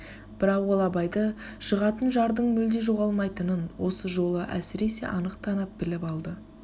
бірақ ол абайды жығатын жардың мүлде жоғалмайтының осы жолы әсіресе анық танып біліп алды